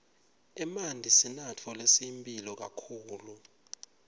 emanti sinatfo lesiyimphilo kakhulu